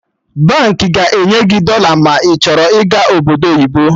Baankị ga-enye gị dọla ma ị chọrọ ịga Obodo oyibo